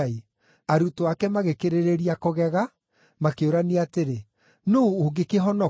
Arutwo ake magĩkĩrĩrĩria kũgega, makĩũrania atĩrĩ, “Nũũ ũngĩkĩhonoka?”